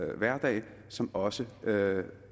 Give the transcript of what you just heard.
hverdag som også